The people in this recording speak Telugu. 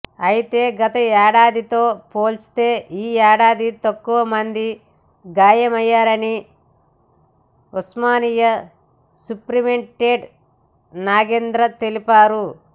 అయితే గతేడాదితో పోల్చితే ఈ ఏడాది తక్కువ మందికి గాలయ్యాయని ఉస్మానియా సూపరింటెండెంట్ నాగేంద్ర తెలిపారు